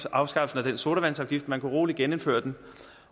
at afskaffe sodavandsafgiften man kunne roligt genindføre den